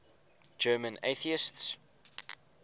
german atheists